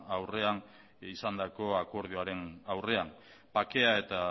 aurrean izandako akordioaren aurrean bakea eta